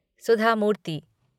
सुधा मूर्ति